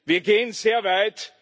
Wir gehen sehr weit.